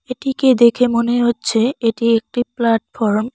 এটিকে দেখে মনে হচ্ছে এটি একটি প্লাটফর্ম ।